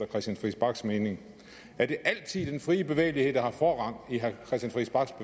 christian friis bachs mening er det altid den frie bevægelighed der har forrang i herre